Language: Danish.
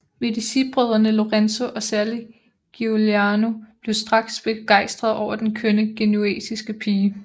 Medicibrødrene Lorenzo og særlig Giuliano blev straks begejstrede over den kønne genuesiske pige